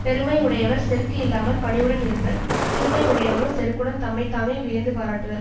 பெருமை உடையவர் செருக்கு இல்லாமல் பணிவுடன் இருப்பர் சிறுமை உடையவரோ செருக்குடன் தம்மை தாமே வியந்து பாராட்டுவர்